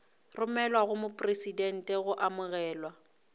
romelwa go mopresidente go amogelwa